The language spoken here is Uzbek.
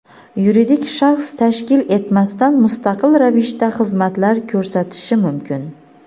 yuridik shaxs tashkil etmasdan mustaqil ravishda xizmatlar ko‘rsatishi mumkin.